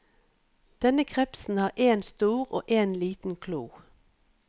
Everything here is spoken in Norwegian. Denne krepsen har en stor og en liten klo.